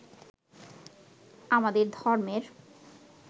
আমাদের ধর্মের